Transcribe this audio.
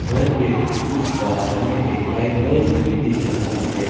घर के उस पर हमें एक लाइट बल्ब भी रहा है।